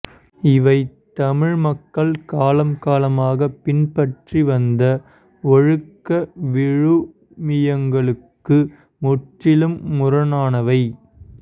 இவை தமிழ் மக்கள் காலம் காலமாக பின்பற்றி வந்த ஒழுக்க விழுமியங்களுக்கு முற்றிலும் முரணானவை